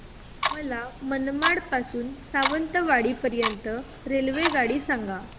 मला मनमाड पासून तर सावंतवाडी पर्यंत ची रेल्वेगाडी सांगा